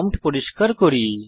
prompt পরিষ্কার করি